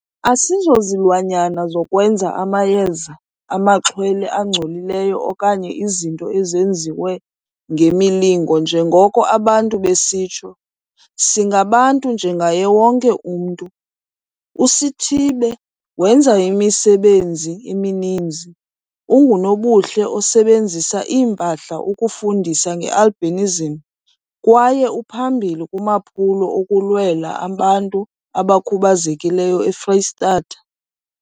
"Asizozilwanyana zokwenza amayeza amaxhwele angcolileyo okanye izinto ezenziwe ngemilingo njengoko abantu besitsho. Singabantu njengaye wonke umntu."USithibe wenza imisebenzi emininzi. Ungunobuhle osebenzisa iimpahla ukufundisa nge-albinism kwaye uphambili kumaphulo okulwela abantu abakhubazekileyo eFreyistatha.